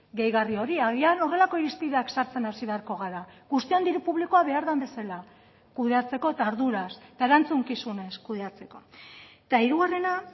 gehigarri hori agian horrelako irizpideak sartzen hasi beharko gara guztion diru publikoa behar den bezala kudeatzeko eta arduraz eta erantzukizunez kudeatzeko eta hirugarrena